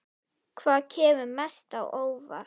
Hvað kemur mest á óvart?